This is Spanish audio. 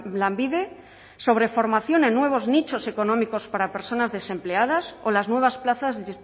lanbide sobre formación en nuevos nichos económicos para personas desempleadas o las nuevas plazas de